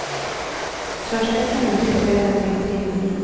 Körsträckan ute på ön är drygt tre mil.